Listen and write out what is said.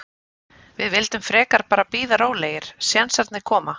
Við vildum frekar bara bíða rólegir, sénsarnir koma.